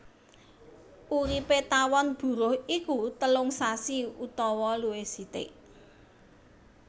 Uripé tawon buruh iku telung sasi utawa luwih sithik